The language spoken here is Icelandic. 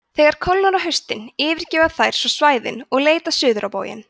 þegar kólnar á haustin yfirgefa þær svo svæðin og leita suður á bóginn